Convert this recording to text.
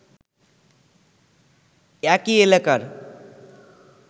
একই এলাকার